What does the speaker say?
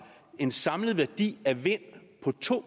en samlet værdi af vind på to